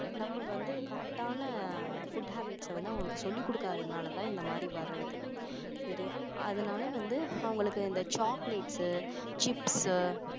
நம்ப வந்து correct ஆன foods habits அ வந்து அவங்களுக்கு சொல்லிக் கொடுக்காததுனால தான் இந்த மாதிரி வர்றது சரியா அதனால வந்து அவங்களுக்கு இந்த choclates chips உ